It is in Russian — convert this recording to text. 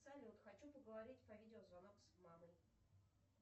салют хочу поговорить по видеозвонок с мамой